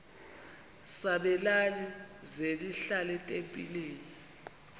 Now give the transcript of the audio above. sabelani zenihlal etempileni